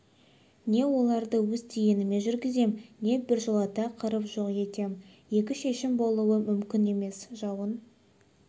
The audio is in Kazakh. не оларды өз дегеніме жүргізем не біржолата қырып жоқ етем екі шешім болуы мүмкін емес жауын